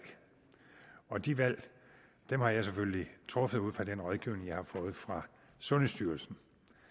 og de valg har jeg selvfølgelig truffet ud fra den rådgivning jeg har fået fra sundhedsstyrelsen